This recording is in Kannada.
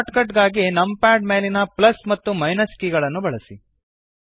ಶಾರ್ಟ್ ಕಟ್ ಗಾಗಿ ನಂಪ್ಯಾಡ್ ಮೇಲಿನ ಪ್ಲಸ್ ಮತ್ತು ಮೈನಸ್ ಕೀ ಗಳನ್ನು ಬಳಸಿ